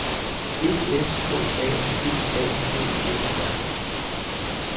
E S K A P A D E R